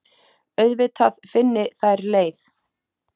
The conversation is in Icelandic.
Auðvitað finni þær leið.